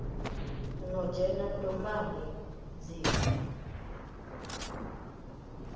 no dzhena dombani dzi vha